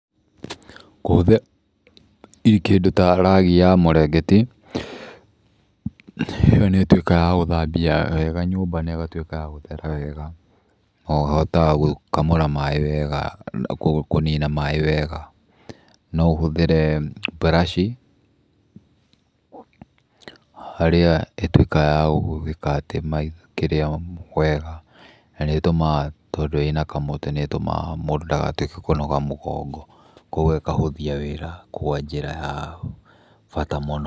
Kũhũthĩra kĩndũ ta ragi ya mũrengeti, ĩyo nĩ ĩtuĩkaga ya gũthambia wega nyũmba na ĩgatuĩka ya gũthera wega, na ũhote wa gũkamũra maĩ wega, ũguo kũnina maĩ wega. No ũhũthĩre mburaci, harĩa ĩtuĩkaga ya kũhũthĩra kĩrĩa wega, tondũ ĩnakamũtĩ, mũndũ ndagatũĩke wa kũnoga mũgongo. Koguo ĩkahũthia wĩra kwa njĩra ya bata mũno.